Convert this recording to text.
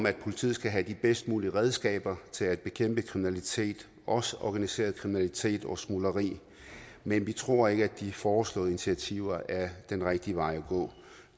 at politiet skal have de bedst mulige redskaber til at bekæmpe kriminalitet også organiseret kriminalitet og smugleri men vi tror ikke at de foreslåede initiativer er den rigtige vej at gå